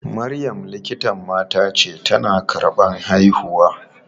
Maryam likitan mata ce, tana karɓan haihuwa.